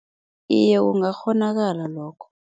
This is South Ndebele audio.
Iye, kungakghonakala lokho.